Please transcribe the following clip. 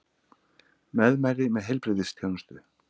Meðmæli með heilbrigðisþjónustu